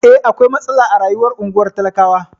Eh, akwai matsala a rayuwar unguwar talakawa.